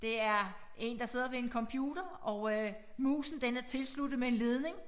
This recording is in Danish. Det er én der sidder ved en computer og øh musen den er tilsluttet med en ledning